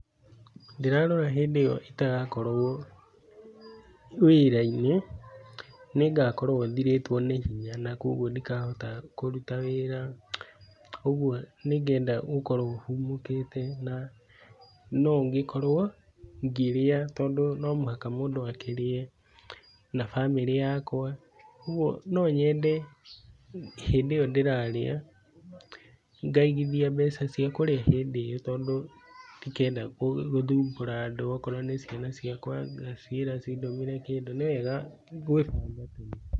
Ndĩrarora hindĩ ĩyo itagakorwo wĩra-inĩ, nĩngakorwo thirĩtwo nĩ hinya na koguo ndikahota kũruta wĩra ũguo nĩngenda gũkorwo hurũkĩte na no ngĩkorwo ngĩrĩa tondũ no mũhaka mũndũ akĩrĩe, na bamĩrĩ yakwa, ũguo no nyende hĩndĩ ĩrĩa ndĩrarĩa, ngaigithia mbeca cia kũrĩa hĩndĩ ĩyo tondũ ndikenda gũthumbũra andũ okorwo nĩ ciana ciakwa ngaciĩra cindũmĩre kĩndũ, nĩ wega gwĩbanga tene.